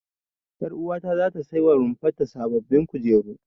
Ƴaruwata ta ce zata sai wa rumfar ta sababbin kujeru.